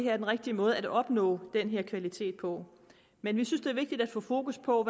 er den rigtige måde at opnå den kvalitet på men vi synes det er vigtigt at få fokus på